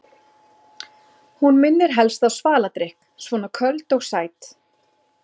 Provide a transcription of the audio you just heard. Hún minnir helst á svaladrykk, svona köld og sæt.